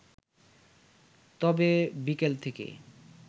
তবে, বিকেল থেকে